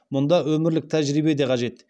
мұнда өмірлік тәжірибе де қажет